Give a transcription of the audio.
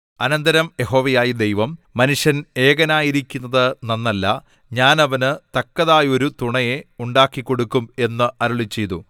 അനന്തരം യഹോവയായ ദൈവം മനുഷ്യൻ ഏകനായിരിക്കുന്നത് നന്നല്ല ഞാൻ അവന് തക്കതായൊരു തുണയെ ഉണ്ടാക്കിക്കൊടുക്കും എന്ന് അരുളിച്ചെയ്തു